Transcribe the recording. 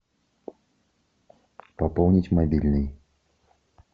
пополнить мобильный